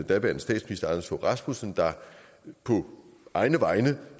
daværende statsminister anders fogh rasmussen der på egne vegne